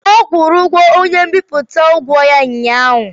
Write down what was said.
Ọ kwụrụ onye mbipụta ụgwọ ya ụnyaahụ?